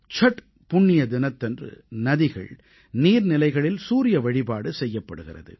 சட் புண்ணிய தினத்தன்று நதிகள் நீர்நிலைகளில் சூரிய வழிபாடு செய்யப்படுகிறது